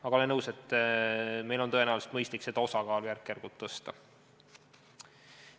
Aga olen nõus, et meil on tõenäoliselt mõistlik seda osakaalu järk-järgult tõsta.